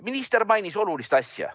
Minister mainis olulist asja.